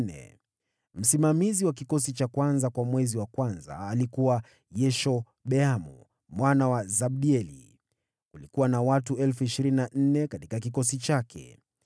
Msimamizi wa kikosi cha kwanza kwa mwezi wa kwanza alikuwa Yashobeamu mwana wa Zabdieli. Kulikuwa na watu 24,000 katika kikosi chake.